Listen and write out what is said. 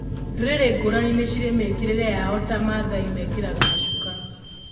Ndũrĩrĩ ngũrani nĩ cirĩ mĩkĩrĩre yao ta mathai mekĩraga macuka.